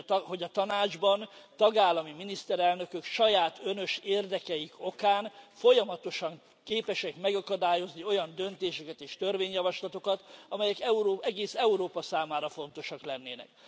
hogy a Tanácsban tagállami miniszterelnökök saját önös érdekeik okán folyamatosan képesek megakadályozni olyan döntéseket és törvényjavaslatokat, amelyek egész Európa számára fontosak lennének.